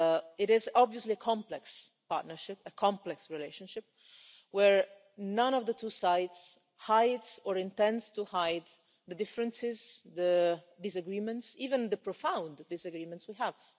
It is obviously a complex partnership, a complex relationship, where neither of the two sides hides, or intends to hide, the differences and the disagreements even the profound disagreements we have.